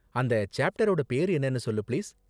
அந்த சேப்டரோட பேரு என்னனு சொல்லு, பிளீஸ்.